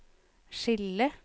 skille